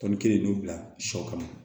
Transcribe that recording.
Tɔni kelen dun bila sɔ kala ma